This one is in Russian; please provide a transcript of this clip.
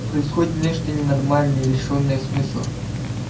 происходит нечто ненормальное лишённое смысла